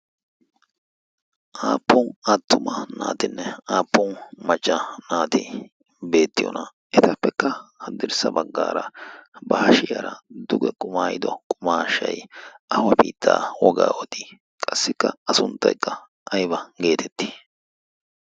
aappon attuma naatinne aappon macca naati beettiyoonaa? etappekka haddirssa baggaara ba hashiyaara duge qumaayido qumaashai auafiittaa wogaa wotii qassikka a sunttayka ayba geetettii?